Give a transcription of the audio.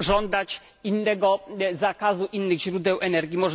żądać innego zakazu innych źródeł energii.